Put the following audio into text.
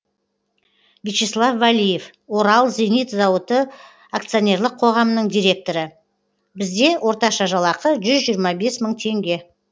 вячеслав валиев орал зенит зауыты акционерлік қоғамының директоры бізде орташа жалақы жүз жиырма бес мың теңге